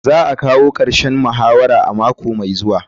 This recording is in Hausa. Za a kawo karshen muhawara a mako mai zuwa.